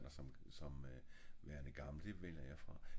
det vælger jeg fra